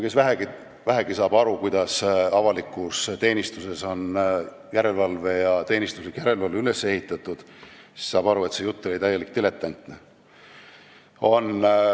Kes vähegi saab aru, kuidas avalikus teenistuses on teenistuslik järelevalve üles ehitatud, see saab aru, et see jutt oli täiesti diletantlik.